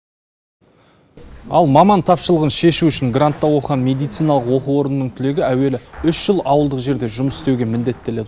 ал маман тапшылығын шешу үшін грантта оқыған медициналық оқу орнының түлегі әуелі үш жыл ауылдық жерде жұмыс істеуге міндеттеледі